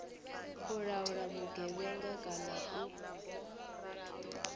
u laula vhugevhenga kana u